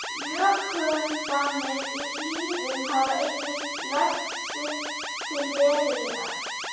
Jökulfannir í hlíðum hafa einnig lagt sitt til veðrunarinnar.